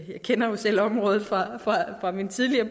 jeg kender jo selv området fra min tidligere